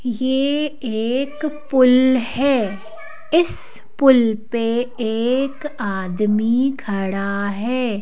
यह एक पुल है इस पुल पे एक आदमी खड़ा है।